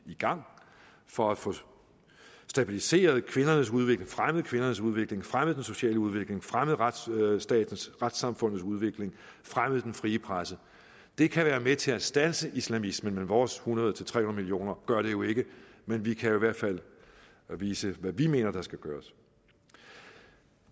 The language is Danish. i gang for at få stabiliseret kvindernes udvikling fremmet kvindernes udvikling fremmet den sociale udvikling fremmet retsstatens retssamfundets udvikling fremmet den frie presse det kan være med til at standse islamismen vores hundrede til tredive nul millioner gør det jo ikke men vi kan i hvert fald vise hvad vi mener der skal gøres